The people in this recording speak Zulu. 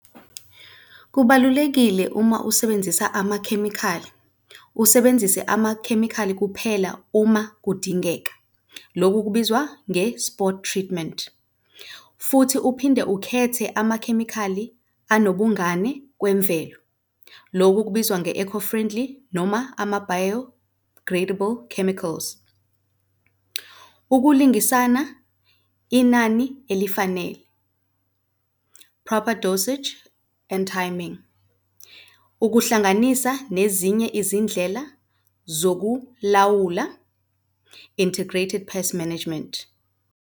Kubalulekile uma usebenzisa amakhemikhali usebenzise amakhemikhali kuphela uma kudingeka, loku kubizwa nge-spot treatment. Futhi uphinde ukhethe amakhemikhali anobungane kwemvelo, loku kubizwa nge-eco-friendly noma ama-biodegradable chemicals. Ukulungisana inani elifanele, proper dosage and timing. Ukuhlanganisa nezinye izindlela zokulawula, integrated pest management.